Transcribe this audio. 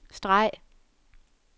streg